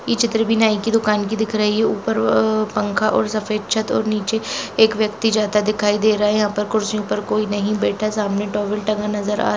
चित्र नाय की दुकान की दिख रही है ऊपर वह पंखा और सफेद छत और नीचे एक व्यक्ति जाता दिखाई दे रहा है यहां पर कुर्सी पर कोई बैठा सामने टॉवल तांगा नजर आती--